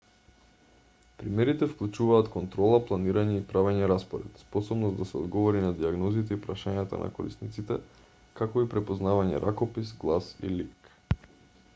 примерите вклучуваат контрола планирање и правење распоред способност да се одговори на дијагнозите и прашањата на корисниците како и препознавање ракопис глас и лик